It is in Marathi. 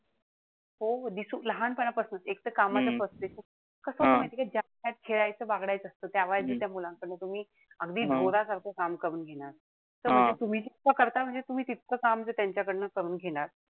हो दिसू लहानपणापासुनच. एक त कामाचं frustration. कसंय माहितीये का त्या वयात खेळायचं बागडायचं असत. या वयात त्या मुलांकडनं तुम्ही अगदी ढोरासारखं काम करून घेणार. त म्हणजे तुम्ही जितकं करता म्हणजे तुम्ही तितकं काम जर त्यांच्याकडन करून घेणार,